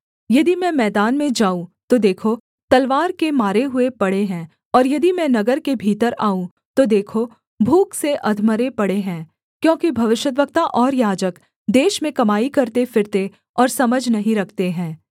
यदि मैं मैदान में जाऊँ तो देखो तलवार के मारे हुए पड़े हैं और यदि मैं नगर के भीतर आऊँ तो देखो भूख से अधमरे पड़े हैं क्योंकि भविष्यद्वक्ता और याजक देश में कमाई करते फिरते और समझ नहीं रखते हैं